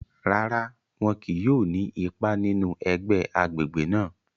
Rárá, wọn kìí yóò ni ipá nínú ẹgbẹ agbègbè náà